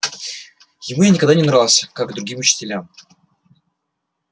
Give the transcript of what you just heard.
ему я никогда не нравился как другим учителям